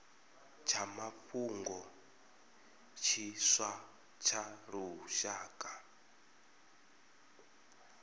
tsha mafhungo tshiswa tsha lushaka